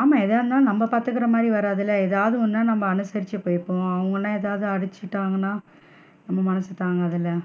ஆமா, எதா இருந்தாலும் நம்ம பாத்துக்குற மாதிரி வராதுல ஏதாது ஒண்ணுன்னா நாம அனுசரிச்சு பேசுவோம் அவுங்கன்னா ஏதாது அடிசிட்டாங்கன்னா நம்ம மனசு தான்காதுல.